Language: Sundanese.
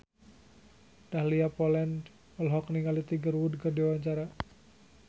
Dahlia Poland olohok ningali Tiger Wood keur diwawancara